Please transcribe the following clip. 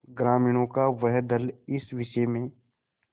ग्रामीणों का वह दल इस विषय में